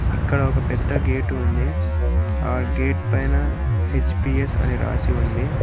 అక్కడ ఒక పెద్ద గేటు ఉంది ఆ గేట్ పైన హెచ్_పి_ఎస్ అని రాసి ఉంది.